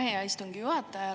Aitäh, hea istungi juhataja!